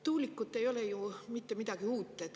Tuulikud ei ole ju mitte midagi uut.